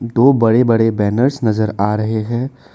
दो बड़े बड़े बैनर्स नजर आ रहे हैं।